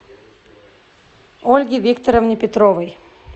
ольге викторовне петровой